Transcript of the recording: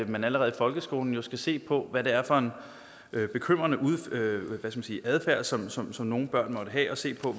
man allerede i folkeskolen skal se på hvad det er for en bekymrende adfærd som som nogle børn måtte have og se på